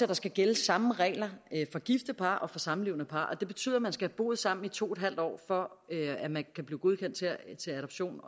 der skal gælde samme regler for gifte par og for samlevende par og det betyder at man skal have boet sammen i to en halv år for at man kan blive godkendt til adoption